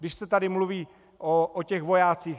Když se tady mluví o těch vojácích.